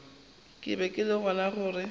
ke be ke bona gore